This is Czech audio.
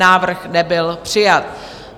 Návrh nebyl přijat.